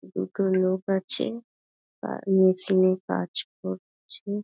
দুটো লোক আছে-এ- তার মেশিন -এ কাজ করছে-এ--